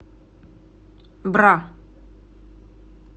бра